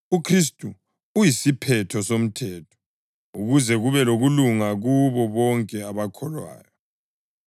UKhristu uyisiphetho somthetho ukuze kube lokulunga kubo bonke abakholwayo.